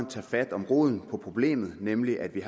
tage fat om roden på problemet nemlig at vi